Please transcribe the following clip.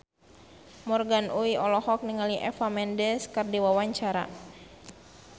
Morgan Oey olohok ningali Eva Mendes keur diwawancara